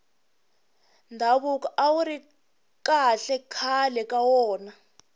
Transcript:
ndhavuko awuri kahle khale ka wona